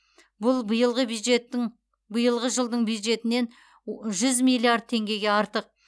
бұл биылғы бюджеттің биылғы жылдың бюджетінен жүз миллиард теңгеге артық